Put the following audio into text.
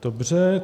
Dobře.